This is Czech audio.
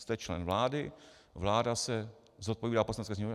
Jste člen vlády, vláda se zodpovídá Poslanecké sněmovně.